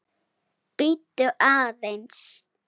Bíddu aðeins.